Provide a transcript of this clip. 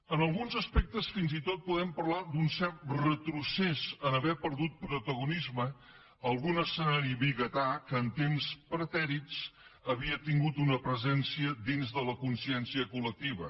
en alguns aspectes fins i tot podem parlar d’un cert retrocés en haver perdut protagonisme algun escenari vigatà que en temps pretèrits havia tingut una presència dins de la consciència col·lectiva